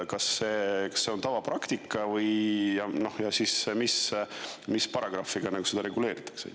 Kas see on tavapraktika ja mis paragrahviga see nagu reguleeritud on?